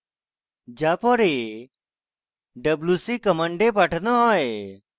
যা পরে wc command পাঠানো হয়